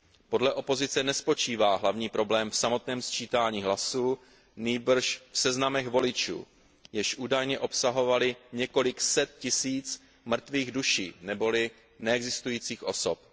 Podle opozice nespočívá hlavní problém v samotném sčítání hlasů, nýbrž v seznamech voličů, jež údajně obsahovaly několik set tisíc mrtvých duší neboli neexistujících osob.